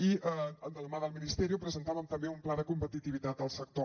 i de la mà del ministerio presentàvem també un pla de competitivitat al sector